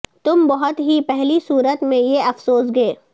تم بہت ہی پہلی صورت میں یہ افسوس گے